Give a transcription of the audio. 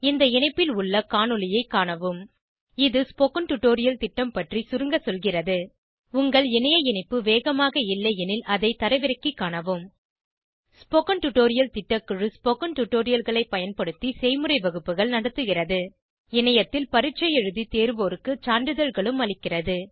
இந்த இணைப்பில் உள்ள காணொளியைக் காணவும் httpspoken tutorialorgWhat is a Spoken Tutorial இது ஸ்போகன் டுடோரியல் திட்டம் பற்றி சுருங்க சொல்கிறது உங்கள் இணைய இணைப்பு வேகமாக இல்லையெனில் அதை தரவிறக்கிக் காணவும் ஸ்போகன் டுடோரியல் திட்டக்குழு ஸ்போகன் டுடோரியல்களைப் பயன்படுத்தி செய்முறை வகுப்புகள் நடத்துகிறது இணையத்தில் பரீட்சை எழுதி தேர்வோருக்கு சான்றிதழ்களும் அளிக்கிறது